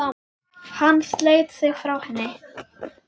Hann sleit sig frá henni.